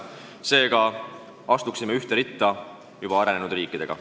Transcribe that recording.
Seega astuksime ühte ritta väga arenenud riikidega.